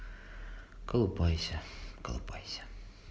колупайся колупайся